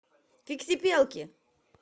фиксипелки